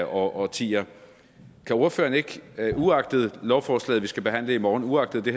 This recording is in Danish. årtier kan ordføreren ikke uagtet lovforslaget vi skal behandle i morgen uagtet det